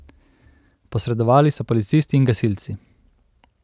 Posredovali so policisti in gasilci.